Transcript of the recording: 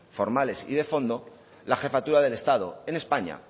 formales y de fondo la jefatura del estado en españa